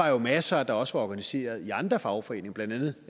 var masser der også var organiserede i andre fagforeninger blandt andet